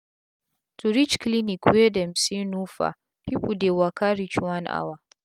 to reach cliniy wey dem say no far pipu dey waka reach one hour